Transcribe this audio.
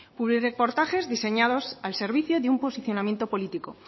publirreportajes diseñados al servicio de un posicionamiento político